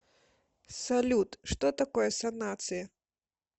салют что такое санация